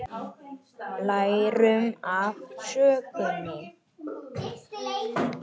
Lærum af sögunni